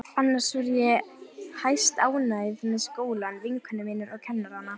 Fyrir kemur og að hiti í borholum á